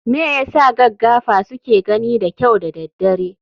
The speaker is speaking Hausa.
Me yasa gaggafa suke gani da kyau da daddare?